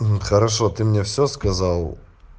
хорошо ты мне все сказал